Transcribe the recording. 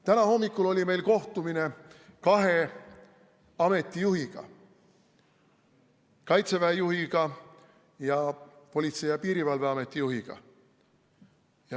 Täna hommikul oli meil kohtumine kahe ameti juhiga: Kaitseväe juhiga ning Politsei- ja Piirivalveameti juhiga.